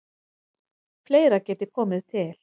Fleira geti komið til.